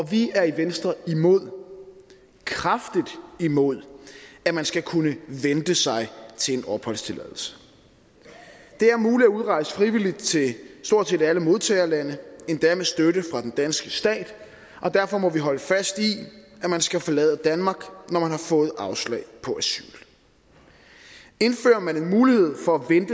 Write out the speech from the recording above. vi er i venstre imod kraftigt imod at man skal kunne vente sig til en opholdstilladelse det er muligt at udrejse frivilligt til stort set alle modtagerlande endda med støtte fra den danske stat og derfor må vi holde fast i at man skal forlade danmark når man har fået afslag på asyl indfører man en mulighed for